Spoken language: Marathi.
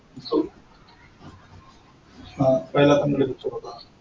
हा पहीला कन्नड picture होता हा.